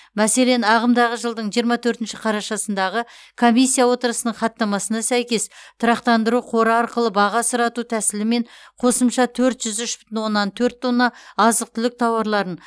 мәселен ағымдағы жылдың жиырма төртінші қарашасындағы комиссия отырысының хаттамасына сәйкес тұрақтандыру қоры арқылы баға сұрату тәсілімен қосымша төрт жүз үш бүтін оннан төрт тонна азық түлік тауарларын